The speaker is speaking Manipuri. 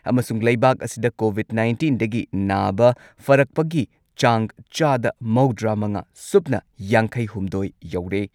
ꯑꯃꯁꯨꯡ ꯂꯩꯕꯥꯛ ꯑꯁꯤꯗ ꯀꯣꯚꯤꯗ ꯅꯥꯏꯟꯇꯤꯟꯗꯒꯤ ꯅꯥꯕ ꯐꯔꯛꯄꯒꯤ ꯆꯥꯡ ꯆꯥꯗ ꯃꯧꯗ꯭ꯔꯥꯃꯉꯥ ꯁꯨꯞꯅ ꯌꯥꯡꯈꯩꯍꯨꯝꯗꯣꯏ ꯌꯧꯔꯦ꯫